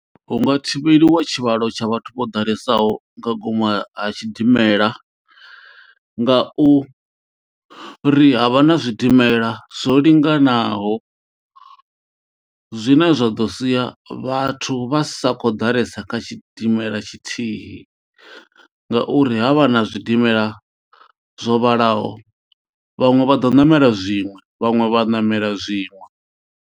Hunga thivheliwa tshivhalo tsha vhathu vho ḓalesaho nga ngomu ha ha tshidimela nga u ri havha na zwidimela zwo linganaho zwine zwa ḓo sia vhathu vha sa kho ḓalesa kha tshidimela tshithihi ngauri havha na zwidimela zwo vhalaho vhaṅwe vha do ṋamela zwiṅwe vhaṅwe vha ṋamela zwiṅwe.